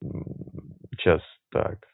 мм сейчас так